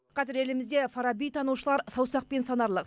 қазір елімізде фараби танушылар саусақпен санарлық